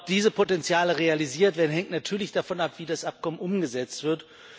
Ob diese Potenziale realisiert werden, hängt natürlich davon ab, wie das Abkommen umgesetzt wird.